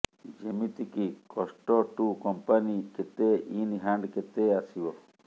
ଯେମିତି କି କଷ୍ଟ ଟୁ କମ୍ପାନୀ କେତେ ଇନ୍ ହ୍ୟାଣ୍ଡ କେତେ ଆସିବ